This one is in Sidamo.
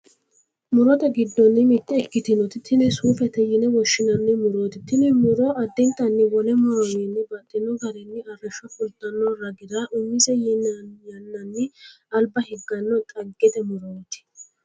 murote giddonni mitte ikkitinoti tini suufete yine woshshinanni murooti, tini muro addintanni wole murowiinni baxxino garinni arrishsho fultanno ragira umise yannanni alba higganno xaggete murooti.